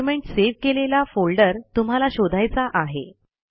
document save केलेला folder तुम्हाला शोधायचा आहे